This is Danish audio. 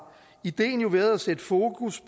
ideen jo været at sætte fokus